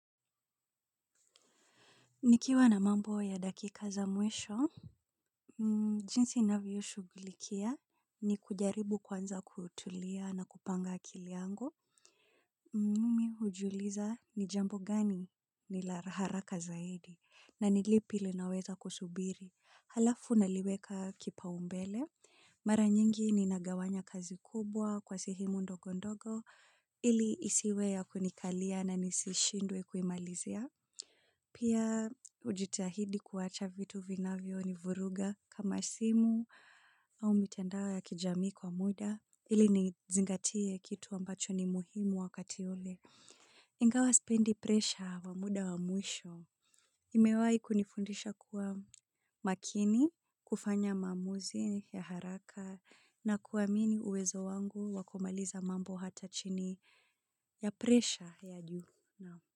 Nikiwa na mambo ya dakika za mwisho, jinsi ninavyo ishugulikia ni kujaribu kwanza kutulia na kupanga akili yangu. Mimi hujiuliza ni jambo gani ni la haraka zaidi na ni lipi linaweza kusubiri. Halafu naliweka kipa umbele. Mara nyingi ninagawanya kazi kubwa kwa sehemu ndogo ndogo ili isiwe ya kunikalia na nisishindwe kuimalizia. Pia hujitahidi kuwacha vitu vinavyo nivuruga kama simu au mitandao ya kijamii kwa muda ili nizingatie kitu ambacho ni muhimu wakati ule. Ingawa sipendi presha wa muda wa mwisho imewahi kunifundisha kuwa makini kufanya maamuzi ya haraka na kuamini uwezo wangu wa kumaliza mambo hata chini ya presha ya juu.